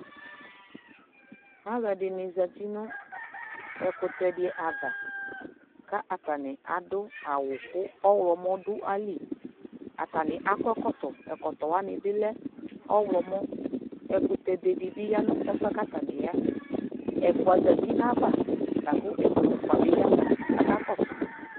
alʋɛdini zati nʋ ɛkʋtɛ di aɣa kʋ atani adʋ awʋ kʋ ɔwlɔmʋ dʋ ayili, atani akɔ ɛkɔtɔ, ɛkɔtɔ wani bi lɛ ɔwlɔmʋ, ɛkʋtɛ bɛ dibi yanʋ ɛƒʋɛ kʋ atani yaɛ ɛƒʋa zati nʋ aɣa lakʋ ɛƒʋa bi yavʋ kʋ aka kɔsʋ